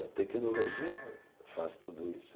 A tecnologia faz tudo isso.